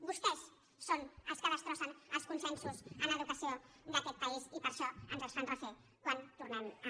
vostès són els que destrossen els consensos en educació d’aquest país i per això ens els fan refer quan tornem a